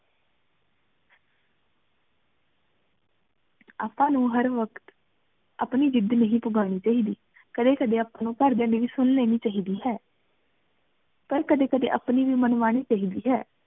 ਆਪਾਂ ਨੂੰ ਹਰ ਵਕ਼ਤ ਆਪਣੀ ਜਿਦ ਨੀ ਪੁਘਾਨੀ ਨਹੀਂ ਚਾਹੀਦੀ ਕਦੇ ਕਦੇ ਆਪਾਂ ਨੂੰ ਘਰ ਦਿਯਾ ਦੀ ਵੀ ਸੁਨ ਲੇਨੀ ਚਾਹੀਦੀ ਹੈ ਪਰ ਕਦੇ ਕਦੇ ਆਪਣੀ ਵੀ ਮਨਮਾਨੀ ਚਾਹੀਦੀ ਹੈ